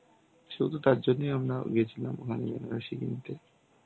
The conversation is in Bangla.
শুধু তার জন্যই আমরা গেছিলাম ওখানে বেনারসি কিনতে.